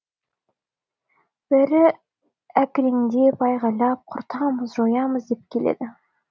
бәрі әкіреңдеп айғайлап құртамыз жоямыз деп келеді